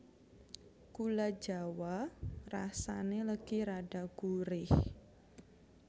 Gula jawa rasané legi rada gurih